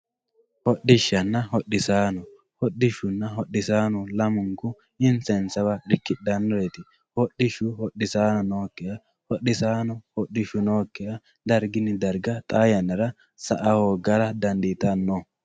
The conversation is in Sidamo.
Hodhishana hodhisaano hodhishuna hodhishaano lamunku insa insaneewa dikidhanoreet hodhishu hodhisaano nokiha hodhisaano hodhishu nookiha dargini darga xaa yanara sa`a hoogara danditano